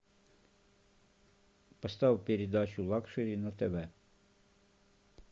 поставь передачу лакшери на тв